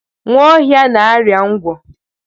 Nwaohia na-arịa ngwọ.